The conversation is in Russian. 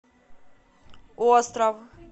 остров